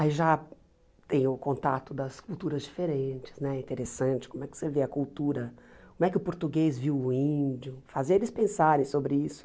Aí já tem o contato das culturas diferentes, né interessante, como é que você vê a cultura, como é que o português viu o índio, fazia eles pensarem sobre isso.